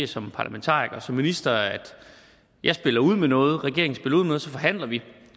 som parlamentariker og som minister at jeg spiller ud med noget regeringen spiller ud med så forhandler vi